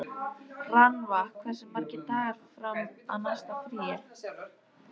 Rannva, hversu margir dagar fram að næsta fríi?